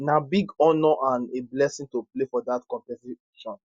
na big honour and a blessing to play for dat competition